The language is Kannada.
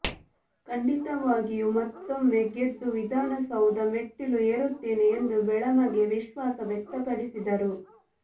ಖಂಡಿತವಾಗಿಯೂ ಮತ್ತೊಮ್ಮೆ ಗೆದ್ದು ವಿಧಾನಸೌಧ ಮೆಟ್ಟಿಲು ಏರುತ್ತೇನೆ ಎಂದು ಬೆಳಮಗಿ ವಿಶ್ವಾಸ ವ್ಯಕ್ತಪಡಿಸಿದರು